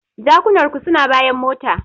Jakunar ku suna bayan mota.